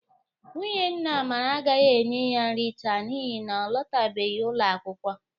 Nwunye nna Amara agaghi enye ya nri taa n'ihi na ọ lụtabeghi ụlọakwụkwọ.